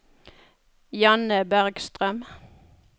Janne Bergstrøm